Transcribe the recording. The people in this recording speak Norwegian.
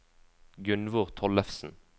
Gunnvor Tollefsen